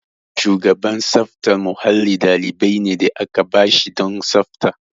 Shugaban tsaftar mahalli ɗalibi ne da aka ba shi don tsafta.